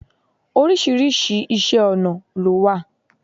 Oríṣiríṣi Iṣẹ́-ọ̀nà ló wà.